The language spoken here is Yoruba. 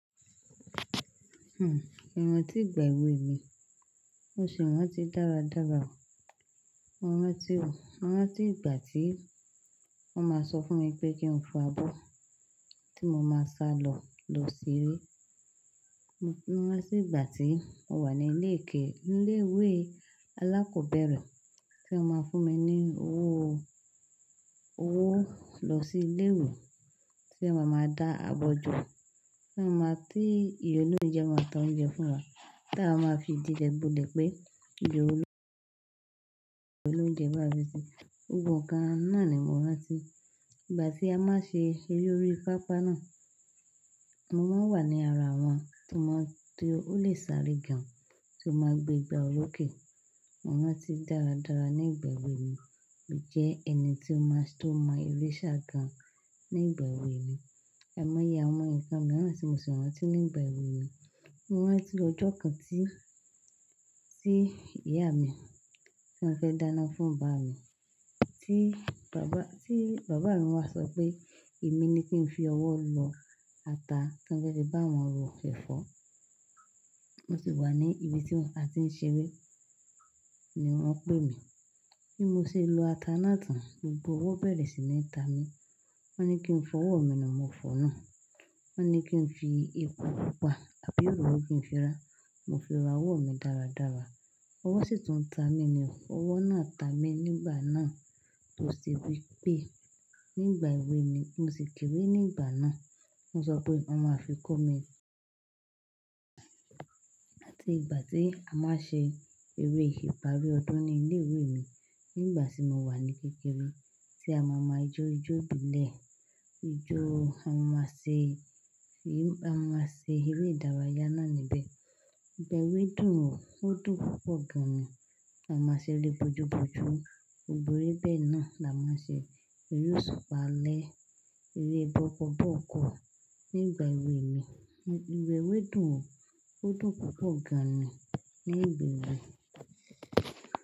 Hmm, mo rántí ìgbà èwe mi, mo sì rántí dáradára. Mo rántí o, mo rántí ìgbà tí wọ́n máa ń sọ fún mi pé kí n fo abọ́ tí mo máa sa lọ, lọ ṣeré. Mo rántí ìgbà tí mo wà ní ilé ẹ̀kọ́, ní ilé ìwé alákọ̀ọ́bẹ̀rẹ̀ tí wọ́n máa ń fún mi ní owó, owó lọ sí ilé ìwé tí wọ́n máa máa dá àbọjọ́, tí wọ́n máa tí ìyá olóunjẹ máa tan oúnjẹ fún wa tí a máa fi digbe bole pé ìyá olóunjẹ máa fi sè. Ògbogboǹkà náà ni mo rántí. Ìgbà tí a máa ṣe eré orí pápá náà, mo máa wà ní ara wọn tí wọn tó lè sáré gan tí wọ́n máa gbé ìgbà orókè. Mo rántí dáradára ní ìgbà èwe mi jẹ́ ẹni tí ó máa tó mọ eré sá gan ní ìgbà èwe mi. Ẹ̀i mọ́ yé wọn ǹkan mìíràn ti mo sì rántí ní ìgbà èwe mi. Mo rántí ọjọ́ kan tí, tí ìyá mi tí wọ́n fẹ́ dáná fún bàbá mi tí bàbá, tí bàbá mi wá sọ pé èmi ni kí n fi ọwọ́ lọ ata tí wọ́n fẹ́ fi bá wọn ro kẹ̀fọ́. Mo sì wà ní ibi tí a ti ń ṣeré ni wọ́n pè mi bí mo ṣe lọ ata náà tán, gbogbo owó bẹ̀rẹ̀ sí ná ta mi. Wọ́n ní kí n fọwọ́ mi náà, mo fọ̀ náà. Wọ́n ní kí n fi epo pupa àbí òróró kí n fi ra, mo fi ra owó mi dáradára. Ọwọ́ sì tún ta mi ni, owó náà ta mi nígbà náà tó sì wí pé nígbà èwe mi, mo sì kéré nígbà náà. Wọ́n sọ pé wọ́n máa fi kó mi. Àti ìgbà tí a máa ṣe eré ìparí ọdún ní ilé ìwé mi nígbà tí mo wà ní kékeré tí a máa mọ ajó ijó ìbílẹ̀. Ijó a máa ṣe, a máa ṣe eré ìdárayá náà níbẹ̀. Ìgbà èwe dùn, ó dùn púpọ̀ gan ni. A máa ṣe eré bojú bojú. Ògnogbo eré bẹ́ẹ̀ náà la máa ṣe. Eré oṣùpá alẹ́, eré bọ́ọ́kọ̀ bọ́ọ̀kọ̀ nígbà èwe mi. Ìgbà èwe dùn, ó dùn púpọ̀ gan ni nígbà èwe.